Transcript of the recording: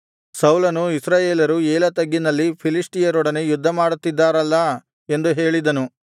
ಸೌಲನೂ ಇಸ್ರಾಯೇಲರೂ ಏಲಾ ತಗ್ಗಿನಲ್ಲಿ ಫಿಲಿಷ್ಟಿಯರೊಡನೆ ಯುದ್ಧಮಾಡುತ್ತಿದ್ದಾರಲ್ಲಾ ಎಂದು ಹೇಳಿದನು